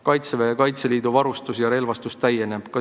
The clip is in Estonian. Kaitseväe ja Kaitseliidu varustus ja relvastus täieneb.